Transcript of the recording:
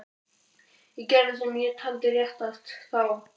Ég gerði það sem ég taldi réttast. þá.